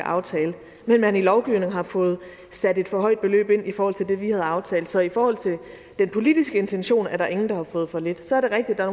aftale men at man i lovgivningen har fået sat et for højt beløb ind i forhold til det vi havde aftalt så i forhold til den politiske intention er der ingen der har fået for lidt så er det rigtigt at